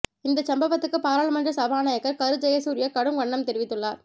இந்த சம்பவத்துக்கு பாராளுமன்ற சபாநாயகர் கரு ஜெயசூர்யா கடும் கண்டனம் தெரிவித்துள்ளார்